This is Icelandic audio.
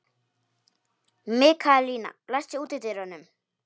Mikaelína, læstu útidyrunum.